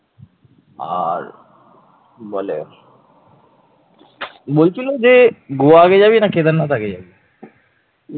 আর কি বলে বলছিলো যে গোয়া আগে যাবি না কেদারনাথ আগে যাবি?